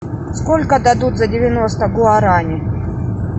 сколько дадут за девяносто гуарани